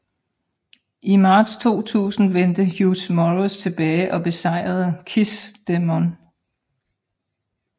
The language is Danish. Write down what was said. I marts 2000 vendte Hugh Morrus tilbage og besejrede KISS Demon